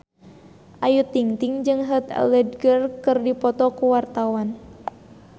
Ayu Ting-ting jeung Heath Ledger keur dipoto ku wartawan